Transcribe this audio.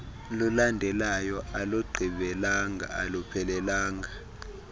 lulandelayo alugqibelelanga aluphelelanga